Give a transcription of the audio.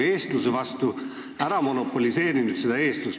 Sa oled eestluse nagu ära monopoliseerinud.